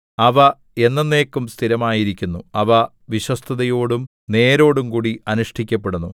അവ എന്നെന്നേക്കും സ്ഥിരമായിരിക്കുന്നു അവ വിശ്വസ്തതയോടും നേരോടുംകൂടി അനുഷ്ഠിക്കപ്പെടുന്നു